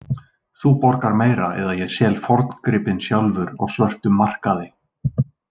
Þú borgar meira eða ég sel forngripinn sjálfur á svörtum markaði